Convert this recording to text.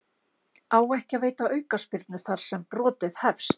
Á ekki að veita aukaspyrnu þar sem brotið hefst?